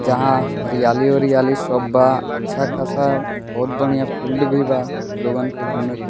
जहां हरियाली-उरयाली सब बा अच्छा खासा बहुत बढ़िया फील्ड भी बा लोगन के घूमे --